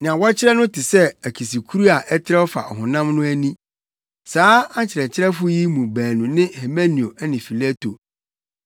Nea wɔkyerɛ no te sɛ akisikuru a ɛtrɛw fa ɔhonam no ani. Saa akyerɛkyerɛfo yi mu baanu ne Himeneo ne Fileto.